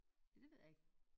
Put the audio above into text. Ja det ved jeg ikke